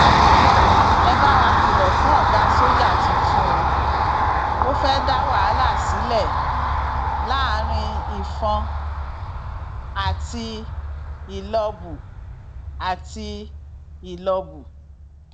ẹ bá wa kìlọ fún ọgá sójà tuntun o ò fẹẹ dá wàhálà sílẹ láàrin ìfọn àti ìlọbù àti ìlọbù